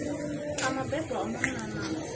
a mabebo a munna na